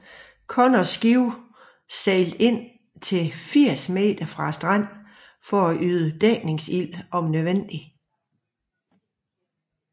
Connors skibe sejlede ind til 80 meter fra stranden for at yde dækningsild om nødvendigt